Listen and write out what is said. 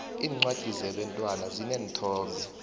iincwadi zebantwana zineenthombe